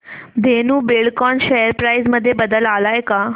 Dhenu Buildcon share price मध्ये बदल आलाय का